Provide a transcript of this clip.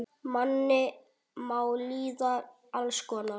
Manni má líða alls konar.